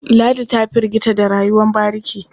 Ladi ta firgita da rayuwar bariki.